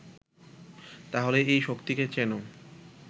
তাহলে এই শক্তিকে চেনো